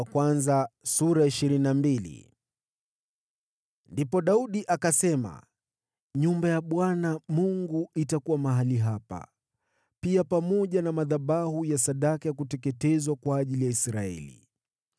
Ndipo Daudi akasema, “Nyumba ya Bwana Mungu itakuwa mahali hapa, pia pamoja na madhabahu ya sadaka ya kuteketezwa kwa ajili ya Israeli.”